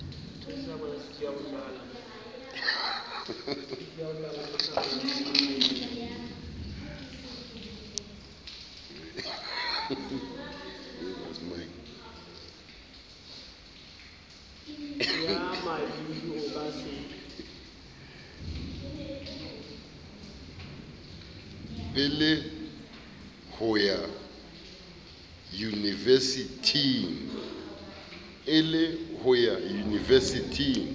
e le ho ya yunivesithing